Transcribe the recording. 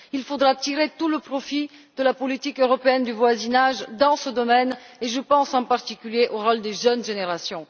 Il faudra tirer tout le profit de la politique européenne de voisinage dans ce domaine, et je pense en particulier au rôle des jeunes générations.